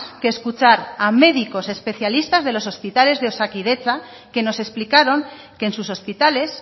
que escuchar a médicos especialistas de los hospitales de osakidetza que nos explicaron que en sus hospitales